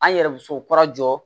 An yɛrɛ musow kura jɔ